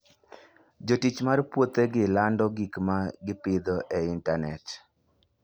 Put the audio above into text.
Jotich mag puothegi lando gik ma gipidho e intanet.